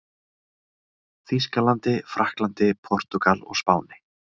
Þýskalandi, Frakklandi, Portúgal og Spáni.